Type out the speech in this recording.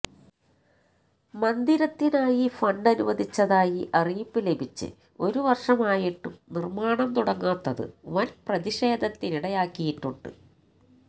മന്ദിരത്തിനായി ഫണ്ടനുവദിച്ചതായി അറിയിപ്പ് ലഭിച്ച് ഒരു വർഷമായിട്ടും നിർമാണം തുടങ്ങാത്തത് വൻ പ്രതിഷേധത്തിനിടയാക്കിയിട്ടുണ്ട്